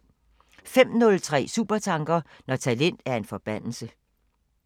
05:03: Supertanker: Når talent er en forbandelse